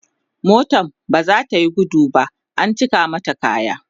motan baza tayi gudu ba an cika mata kaya